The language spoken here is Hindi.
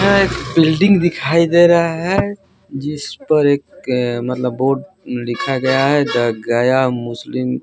यह एक बिल्डिंग दिखाई दे रहा है जिस पर एक मतलब बोर्ड लिखा गया है द गया मुस्लिम।